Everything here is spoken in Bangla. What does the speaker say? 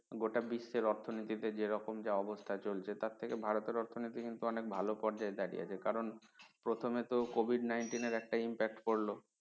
গোটা বিশ্বে অর্থনীতি তে যেরকম যা অবস্থা চলছে তার থেকে ভারতের অর্থনীতি কিন্তু অনেক ভালো পর্যায়ে দাঁড়িয়ে আছে কারন প্রথমে তো COVID -NINETEEN এর একটা impact পড়ল